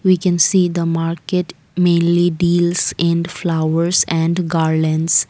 we can see the market mainly deals in flowers and garlands.